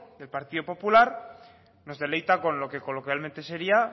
el partido popular nos deleita con lo que coloquialmente sería